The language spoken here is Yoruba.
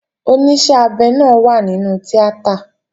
Oníṣẹ́ abẹ náà wà nínú tíátà